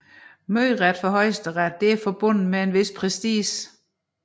Møderet for Højesteret er forbundet med en vis prestige